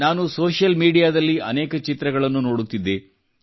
ನಾನು ಸೋಷಿಯಲ್ ಮೀಡಿಯಾದಲ್ಲಿ ಅನೇಕ ಚಿತ್ರಗಳನ್ನು ನೋಡುತ್ತಿದ್ದೆ